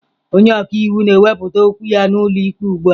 Onye ọka iwu na-ewepụta okwu ya n'ụlọ ikpe ugbu a.